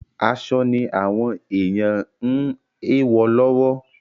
Aṣọ ni àwọn èyàn ń ewọ lọ́wọ́.